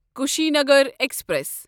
Kushinagar express